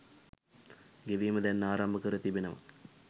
ගෙවීම දැන් ආරම්භ කර තිබෙනවා.